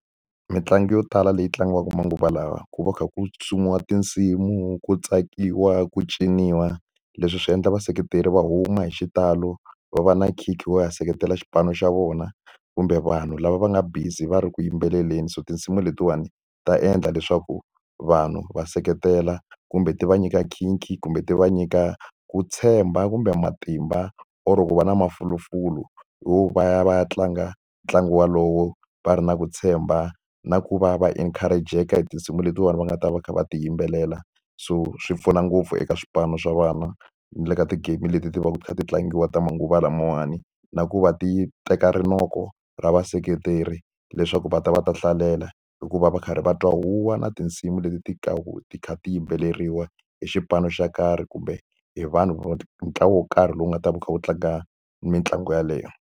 Mitlangu yo tala leyi tlangiwaka manguva lawa ku va kha ku sumiwa tinsimu, ku tsakiwa, ku ciniwa. Leswi swi endla vaseketeri va huma hi xitalo, va va na nkhinkhi wo ya seketela xipano xa vona. Kumbe vanhu lava va nga busy va ri ku yimbeleleni so tinsimu letiwani ta endla leswaku vanhu va seketela kumbe ti va nyika nkhinkhi kumbe ti va nyika ku tshemba kumbe matimba, or ku va na mafulufulu yo va ya va ya tlanga ntlangu walowo va ri na ku tshemba. Na ku va va encourage-eka hi tinsimu letiwani va nga ta va kha va ti yimbelela. So swi pfuna ngopfu eka swipano swa vana, ni le ka ti-game leti ti va ti kha ti tlangiwa ta manguva lamawani. Na ku va ti teka rinoko ra vaseketeri leswaku va ta va ta hlalela, hi ku va va karhi va twa huwa na tinsimu leti ti ti kha ti yimbeleriwa hi xipano xo karhi. Kumbe hi vanhu hi ntlawa wo karhi lowu nga ta va wu kha wu tlanga mitlangu yaleyo.